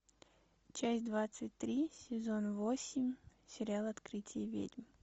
часть двадцать три сезон восемь сериал открытие ведьм